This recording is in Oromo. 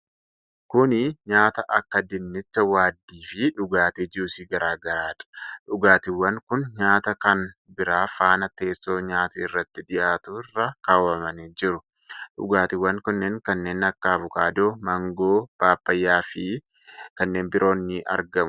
Kuni nyaata akka dinnicha waaddii fi dhugaatii juusii garaagaraadha. Dhugaatiiwwan kun nyaata kan biraa faana teesso nyaati irratti dhiyyaatu irra kaawwamanii jiru. Dhugaatiwwan kunneen kanneenn akka avokaadoo, maangoo paappayyaa fi kanneen biroon ni argamu.